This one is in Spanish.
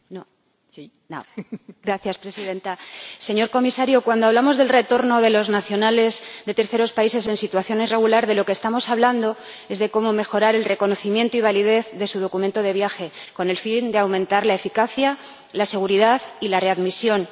Señora Presidenta, señor Comisario, cuando hablamos del retorno de los nacionales de terceros países en situación irregular, estamos hablando de cómo mejorar el reconocimiento y la validez de su documento de viaje, con el fin de aumentar la eficacia, la seguridad y la readmisión en los retornos.